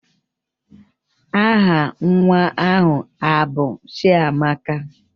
Aha nwa ahụ abụ Chiamaka?